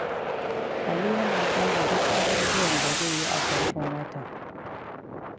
Ali yana tsara duk abubuwan da zai yi a farkon watan.